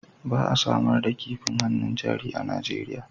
Ba a samar da kifin hannun jari a Najeriya